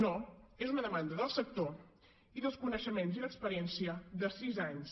no és una demanda del sector i dels coneixements i l’experiència de sis anys